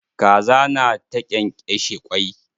Kaza na ta ƙenƙeshe kwai